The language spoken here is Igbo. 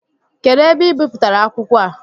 Kedụ ebe ị bipụtara akwụkwọ a?